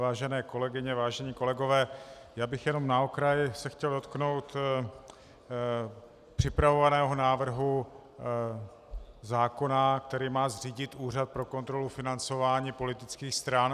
Vážené kolegyně, vážení kolegové, já bych jenom na okraj se chtěl dotknout připravovaného návrhu zákona, který má zřídit Úřad pro kontrolu financování politických stran.